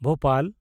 Bhopal